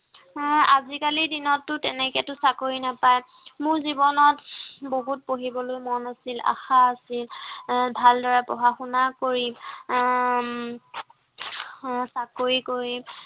আহ আজিকালিৰ দিনতটো তেনেকেটো চাকৰি নাপায়। মোৰ জীৱনত বহুত পঢ়িবলৈ মন আছিল, আশা আছিল, আহ ভালদৰে পঢ়া শুনা কৰিম। আহ উম আহ চাকৰি কৰিম।